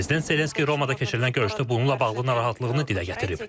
Prezident Zelenski Romada keçirilən görüşdə bununla bağlı narahatlığını dilə gətirib.